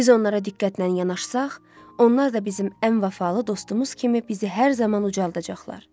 Biz onlara diqqətlə yanaşsaq, onlar da bizim ən vəfalı dostumuz kimi bizi hər zaman ucaldacaqlar.